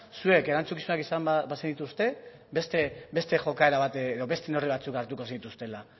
zuek erantzukizunak izan bazenituzte beste jokaera bat edo beste neurri batzuk hartuko zenituztela